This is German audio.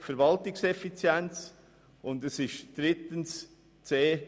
Verwaltungseffizienz und c)